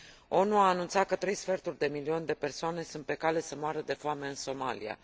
ONU a anunțat că trei sferturi de milion de persoane sunt pe cale să moară de foame în Somalia.